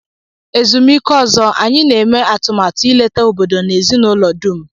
Ezumike ọzọ, anyị na-eme atụmatụ ileta obodo na ezinụlọ dum.